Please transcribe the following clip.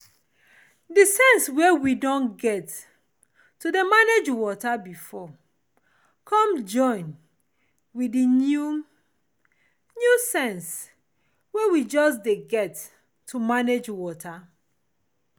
di sense wey we don get to dey manage water before con join with di new new sense wey we just dey get to manage water